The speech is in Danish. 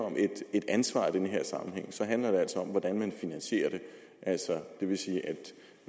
et ansvar i den her sammenhæng handler det altså om hvordan man finansierer det altså det vil sige at